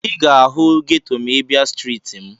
Ị ga-ahụ geto ma ị bịa na streeti m.